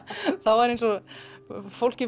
fólk